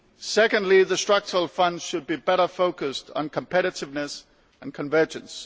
Secondly, the Structural Funds should be better focused on competitiveness and convergence.